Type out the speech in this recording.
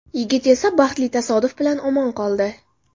Yigit esa baxtli tasodif bilan omon qoldi.